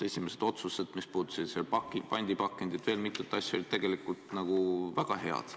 Esimesed otsused, mis puudutasid pandipakendit, ja veel mitu ettevõtmist olid tegelikult väga head.